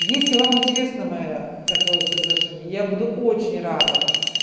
если вам интересна моя такоё предложение я буду очень рада